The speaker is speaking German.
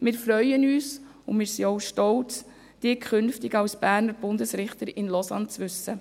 Wir freuen uns und sind stolz, Sie künftig als Berner Bundesrichter in Lausanne zu wissen.